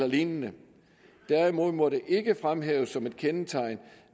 lignende derimod må det ikke fremhæves som et kendetegn